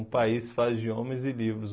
Um país faz de homens e livros.